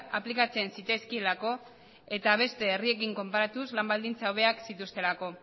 aplikatzen zitzaizkielako eta beste herriekin konparatuz lan baldintza hobeak zituztelako